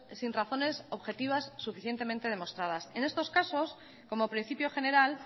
sin razones objetivas suficientemente demostradas en estos casos como principio general